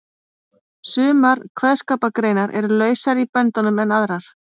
Sumar kveðskapargreinar eru lausari í böndunum en aðrar.